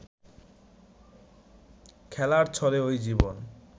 খেলার ছলে ওই জীবন